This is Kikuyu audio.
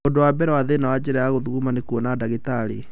Ũndũ wa mbere nĩ thĩna wa njĩra ya gũthuguma nĩ kwona dagĩtarĩ